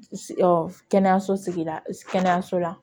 kɛnɛyaso sigida kɛnɛyaso la